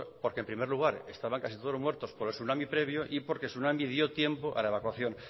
porque en primer lugar estaban casi todos muertos por el tsunami previo y porque el tsunami dio tiempo a la evacuación